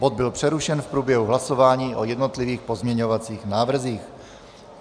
Bod byl přerušen v průběhu hlasování o jednotlivých pozměňovacích návrzích.